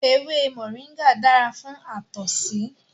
Ewé moringa dára fún àtọ̀sí